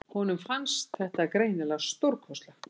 Honum fannst þetta greinilega stórkostlegt.